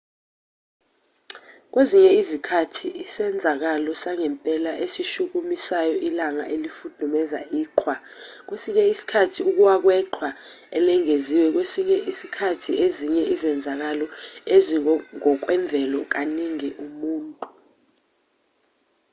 kwezinye izikhathi isenzakalo sangempela esishukumisayo ilanga elifudumeza iqhwa kwesinye isikhathi ukuwa kweqhwa elengeziwe kwesinye isikhathi ezinye izenzakalo ezingokwemvelo kaningi umuntu